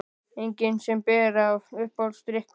Engin sem ber af Uppáhaldsdrykkur?